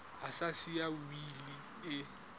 a sa siya wili e